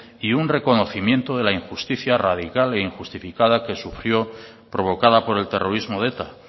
y un reconocimiento de la injusticia radical e injustificada que sufrió provocada por el terrorismo de eta